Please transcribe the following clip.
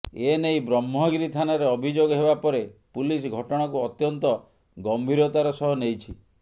ଏ ନେଇ ବ୍ରହ୍ମଗିରି ଥାନାରେ ଅଭିଯୋଗ ହେବା ପରେ ପୁଲିସ ଘଟଣାକୁ ଅତ୍ୟନ୍ତ ଗମ୍ଭୀରତାର ସହ ନେଇଛି